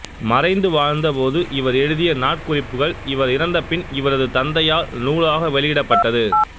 மறைந்து வாழ்ந்த போது இவர் எழுதிய நாட்குறிப்புகள் இவர் இறந்த பின் இவரது தந்தையால் நூலாக வெளியிடப்பட்டது